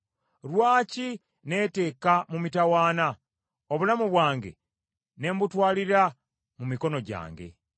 Lwaki neeteeka mu mitawaana, obulamu bwange ne mbutwalira mu mikono gyange?